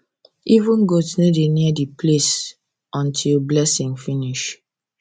even goat no dey near the place until blessing finish